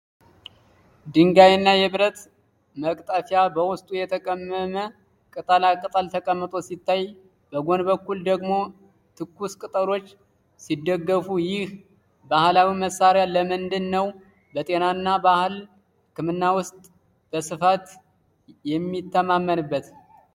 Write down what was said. ድንጋይና የብረት መቅጠፊያ በውስጡ የተቀመመ ቅጠላ ቅጠል ተቀምጦ ሲታይ፣ በጎን በኩል ደግሞ ትኩስ ቅጠሎች ሲደጋገፉ፣ ይህ ባህላዊ መሳሪያ ለምንድነው በጤናና በባህል ሕክምና ውስጥ በስፋት የሚተማመንበት?